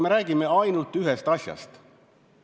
Me räägime ju ainult ühest asjast.